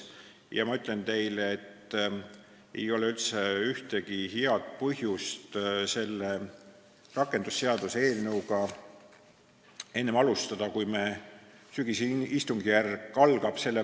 Ja ma ütlen teile, et ei ole ühtegi head põhjust, miks alustada selle rakendusseaduse eelnõu arutelu enne meie sügisest istungjärku.